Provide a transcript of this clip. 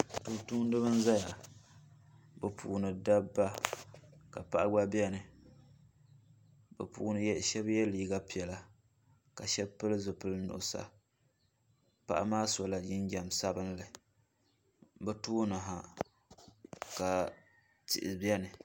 Tumtumdiba n zaya bɛ puuni dabba ka paɣa gba biɛni bɛ puuni sheba ye liiga piɛla ka sheba pili zipil'nuɣuso paɣa maa sola jinjiɛm sabinli bɛ tooni ha ka tihi biɛni.